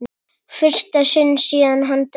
fyrsta sinn síðan hann dó.